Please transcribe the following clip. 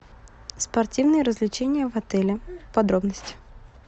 спортивные развлечения в отеле подробности